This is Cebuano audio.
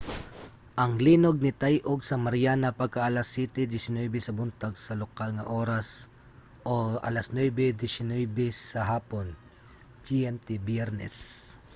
ang linog nitay-og sa mariana pagka-alas 07:19 sa buntag sa lokal nga oras 09:19 sa hapon gmt biyernes